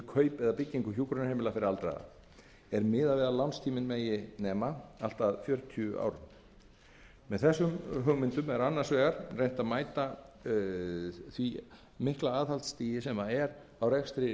kaup eða byggingu hjúkrunarheimila fyrir aldraða er miðað við að lánstíminn megi nema allt að fjörutíu árum virðulegi forseti verði frumvarp þetta að lögum er áætlað að útgjöld